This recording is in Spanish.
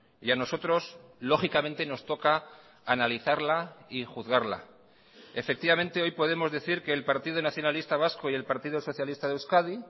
y a nosotros lógicamente nos toca analizarla y juzgarla efectivamente hoy podemos decir que el partido nacionalista vasco y el partido socialista de euskadi